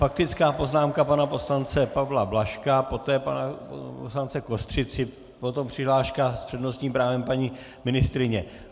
Faktická poznámka pana poslance Pavla Blažka, poté pana poslance Kostřici, potom přihláška s přednostním právem paní ministryně.